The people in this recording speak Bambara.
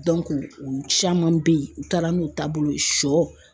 u caman bɛ yen u taara n'u taabolo sɔ.